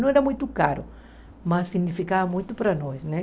Não era muito caro, mas significava muito para nós, né?